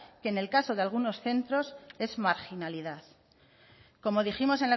que en el caso de algunos centros es marginalidad como dijimos